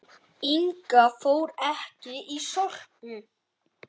Inga fór ekki í Sorpu.